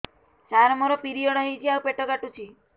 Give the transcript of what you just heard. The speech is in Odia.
ସାର ମୋର ପିରିଅଡ଼ ହେଇଚି ଆଉ ପେଟ କାଟୁଛି